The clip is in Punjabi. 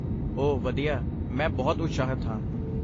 ਓਹ ਵਧੀਆ, ਮੈਂ ਬਹੁਤ ਉਤਸ਼ਾਹਿਤ ਹਾਂ।